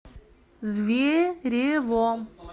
зверево